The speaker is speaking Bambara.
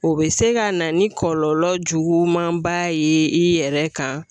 O bɛ se ka na ni kɔlɔlɔ juguman ba ye i yɛrɛ kan